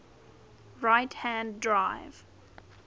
right hand drive